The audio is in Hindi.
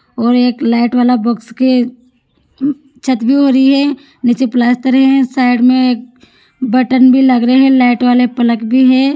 वो एक लाइट वाला के छत पे हो रही है निचे प्लास्टर है साइड में बटन भी लग रहे है लाइट वाले प्लग भी है।